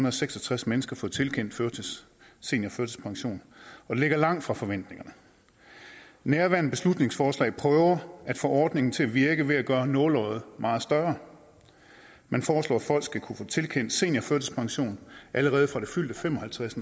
og seks og tres mennesker fået tilkendt seniorførtidspension og det ligger langt fra forventningerne nærværende beslutningsforslag prøver at få ordningen til at virke ved at gøre nåleøjet meget større man foreslår at folk skal kunne få tilkendt seniorførtidspension allerede fra det fyldte fem og halvtreds